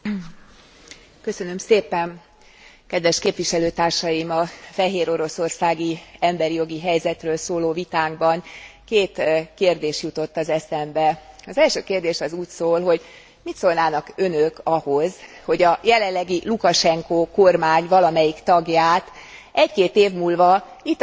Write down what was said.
Kedves képviselőtársaim! A fehéroroszországi emberjogi helyzetről szóló vitánkban két kérdés jutott az eszembe az első kérdés az úgy szól, hogy mit szólnának önök ahhoz, hogy a jelenlegi Lukasenko kormány valamelyik tagját egy két év múlva itt az Európai Parlamentben, mégpedig